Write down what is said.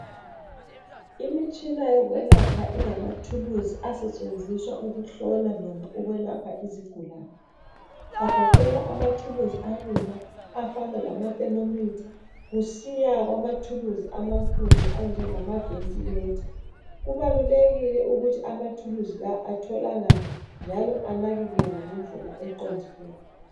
Imitshina yokwelapha ingamathulusi asetshenziswa ukuhlola noma ukwelapha izigulane agoqela amathuluzi alula afana lama thermometer kusiya kumathuluzi amakhulu anjengama ventilator. Kubalulekile ukuthi amathuluzi la atholakale njalo anakekelwe ngendlela eqondileyo.